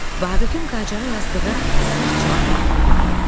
Vaqifin Qacara yazdığı sərt cavab məktubu göndərilir.